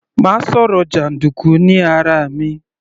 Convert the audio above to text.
Má sọ̀rọ̀ jàndùkú ní ara mi.